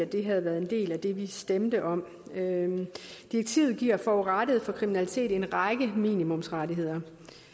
det havde været en del af det vi stemte om direktivet giver forurettede for kriminalitet en række minimumsrettigheder